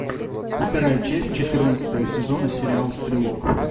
вторая часть четырнадцатого сезона сериал стрелок